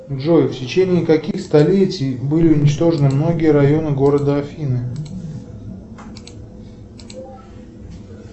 джой в течении каких столетий были уничтожены многие районы города афины